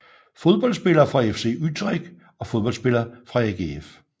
Fodboldspillere fra FC Utrecht Fodboldspillere fra AGF